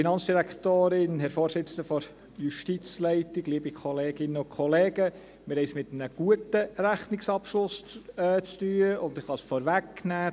Wir haben es mit einem guten Rechnungsabschluss zu tun, und ich kann es vorwegnehmen: